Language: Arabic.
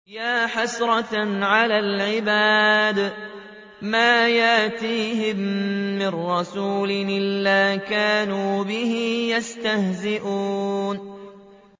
يَا حَسْرَةً عَلَى الْعِبَادِ ۚ مَا يَأْتِيهِم مِّن رَّسُولٍ إِلَّا كَانُوا بِهِ يَسْتَهْزِئُونَ